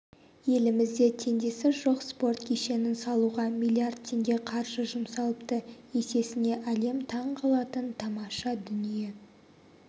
елімізде теңдесі жоқ спорт кешенін салуға миллиард теңге қаржы жұмсалыпты есесіне әлем таң қалатын тамаша дүние